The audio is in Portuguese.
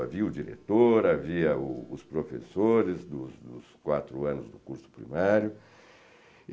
Havia o diretor, havia o os professores dos dos quatro anos do curso primário.